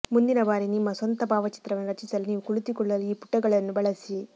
ಮುಂದಿನ ಬಾರಿ ನಿಮ್ಮ ಸ್ವಂತ ಭಾವಚಿತ್ರವನ್ನು ರಚಿಸಲು ನೀವು ಕುಳಿತುಕೊಳ್ಳಲು ಈ ಪುಟಗಳನ್ನು ಬಳಸಿ